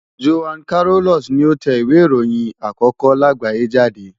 Johann Carolus ni ó tẹ ìwé ìròyìn àkókó láàgbáyé jáde.